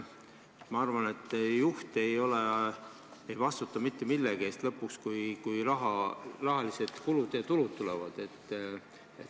Ma arvan, et juht ei vastuta lõpuks mitte millegi eest, kui rahalised tulud ja kulud tulevad.